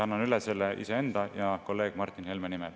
Annan selle üle iseenda ja kolleeg Martin Helme nimel.